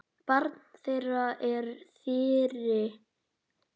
Barn þeirra er Þyrí.